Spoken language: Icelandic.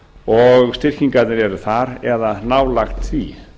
og styrkingingarnar eru þar eða nálægt því